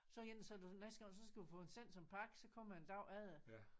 Sådan en så næste gang så skal du få den sendt som pakke så kommer den æ dag efter